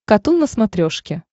катун на смотрешке